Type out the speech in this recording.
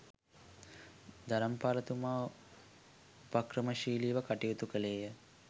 ධර්මපාල තුමා උපක්‍රමශීලීව කටයුතු කළේ ය.